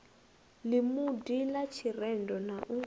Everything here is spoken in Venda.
ḽimudi ḽa tshirendo na u